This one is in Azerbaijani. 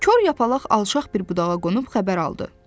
Kor yapaq alçaq bir budağa qonub xəbər aldı.